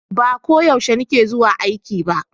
Ba ko yaushe ni ke zuwa aiki ba